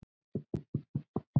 Bara sisona.